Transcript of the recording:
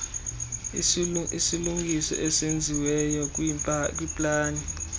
isilungiso esenziweyo kwiplani